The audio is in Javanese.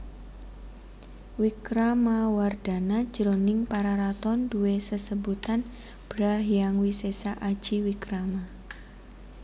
Wikramawardhana jroning Pararaton duwé sesebutan Bhra Hyang Wisesa Aji Wikrama